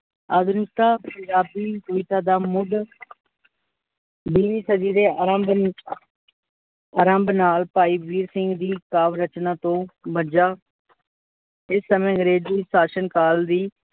ਅਧੁਨਿਕਤਾ ਪੰਜਾਬੀ ਸਾਹਿਤਾ ਦਾ ਮੂਡ ਬਿਖਜੀਰੇ ਆਰੰਭ ਆਰੰਭ ਨਾਲ ਭਾਈ ਵੀਰ ਸਿੰਘ ਕਾਵ ਰਚਨਾ ਤੋਂ ਬਜਾ ਇਸ ਸਮੇ ਅੰਗ੍ਰੇਜੀ ਸ਼ਾਸ਼ਨਕਾਲ ਦੀ